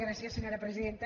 gràcies senyora presidenta